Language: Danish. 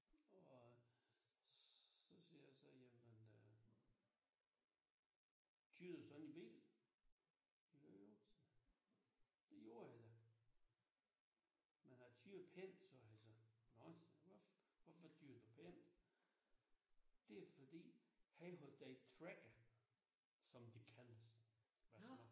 Og så siger jeg så jamen øh kører du sådan i bil jojo sagde han det gjorde jeg da men jeg kører pænt sagde han så nå hvorfor kører du pænt det fordi han holdt det i tracker som det kaldtes af små